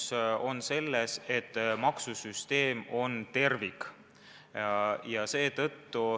Asi on selles, et maksusüsteem on tervik.